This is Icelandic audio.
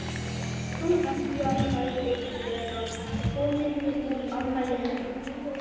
Soffía sagðist vera komin í afmælið hennar